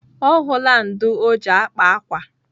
Ọ hụla ndụ̀ ọ ji akpa akwa.